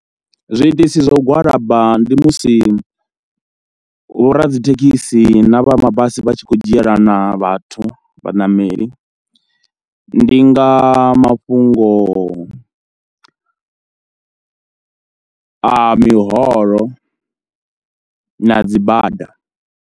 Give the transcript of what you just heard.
Zwiitisi zwa u gwalaba ndi musi vho radzithekhisi na vha mabasi vha tshi khou dzhielana vhathu, vhaṋameli ndi nga mafhungo a miholo na dzi bada.